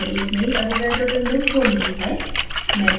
मैंने एक नयी avogadro window खोल ली है